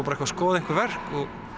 bara að skoða einhver verk